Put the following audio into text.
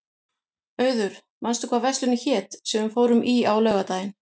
Auður, manstu hvað verslunin hét sem við fórum í á laugardaginn?